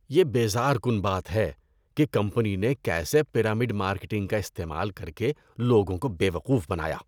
یہ بیزار کن بات ہے کہ کمپنی نے کیسے پیرامڈ مارکیٹنگ کا استعمال کر کے لوگوں کو بے وقوف بنایا۔